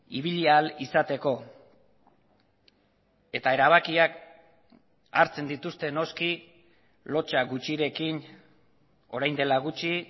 ibili ahal izateko eta erabakiak hartzen dituzte noski lotsa gutxirekin orain dela gutxi